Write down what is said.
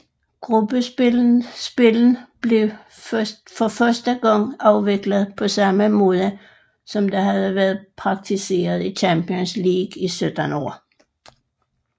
Gruppespillene blev for første gang afviklet på samme måde som det havde været praktiseret i Champions League i 17 år